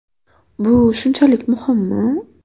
Bu shunchalik muhimmi?.